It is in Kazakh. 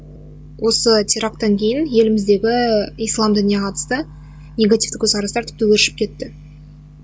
осы терактан кейін еліміздегі ислам дініне қатысты негативті көзқарастар тіпті өршіп кетті